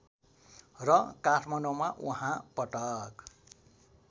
र काठमाडौँमा उहाँ पटक